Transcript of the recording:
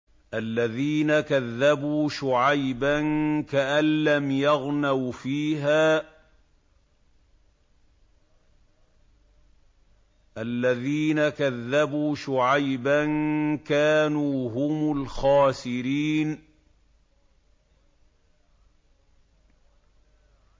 الَّذِينَ كَذَّبُوا شُعَيْبًا كَأَن لَّمْ يَغْنَوْا فِيهَا ۚ الَّذِينَ كَذَّبُوا شُعَيْبًا كَانُوا هُمُ الْخَاسِرِينَ